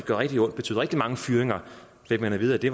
rigtig ondt og betyde rigtig mange fyringer fik at vide at det